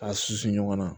K'a susu ɲɔgɔn na